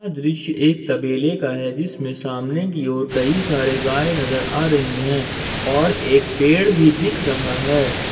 यह दृश्य एक तबेले का है जिसमें सामने की ओर कई सारे गाय नजर आ रही है और एक पेड़ भी दिख रहा है।